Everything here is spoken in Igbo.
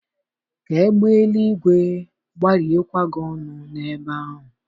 Kaa egbe eluigwe gbarie kwa gị ọnụ n'ebe ahụ